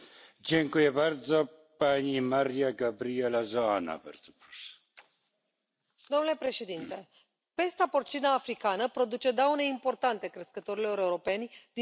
Domnule președinte, pesta porcină africană produce daune importante crescătorilor europeni din Estonia, Letonia, Lituania, Polonia, Ucraina, România și Bulgaria.